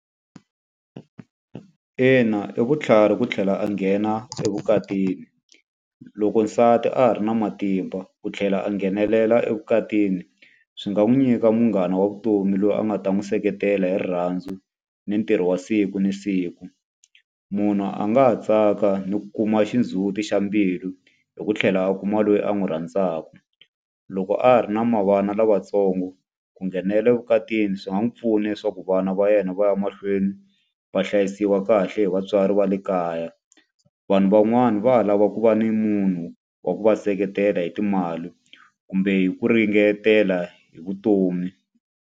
Ina i vutlhari ku tlhela a nghena evukatini. Loko nsati a ha ri na matimba ku tlhela a nghenelela evukatini, swi nga n'wi nyika munghana wa vutomi loyi a nga ta n'wi seketela hi rirhandzu ni ntirho wa siku na siku. Munhu a nga ha tsaka ni ku kuma xindzhuti xa mbilu, hi ku tlhela a kuma loyi a n'wi rhandzaka. Loko a ha ri na ma vana lavatsongo, ku nghenela evukatini swi nga n'wi pfuna leswaku vana va yena va va ya mahlweni va hlayisiwa kahle hi vatswari va le kaya. Vanhu van'wani va ha lava ku va ni munhu wa ku va seketela hi timali, kumbe hi ku ringetela hi vutomi.